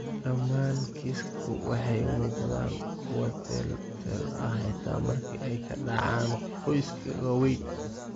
Dhammaan kiisaska waxay u muuqdaan kuwo teel-teel ah, xitaa marka ay ka dhacaan qoysaska waaweyn.